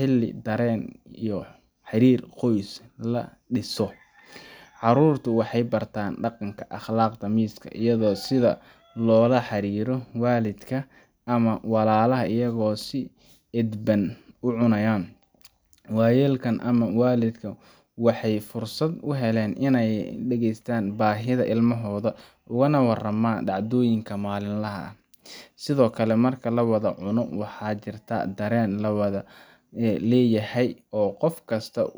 iyada oo sidha walidka lola xiriro ama walalaha wayelka ama walidka waxee fursaad u helen oga waraman dacdoyinka malin laha ah sithokale marka lawadha cuno waxaa jirta daren la wadha leyahay oo kof kista.